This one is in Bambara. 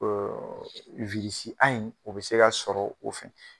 Ee A in o be se ka sɔrɔ a fɛ.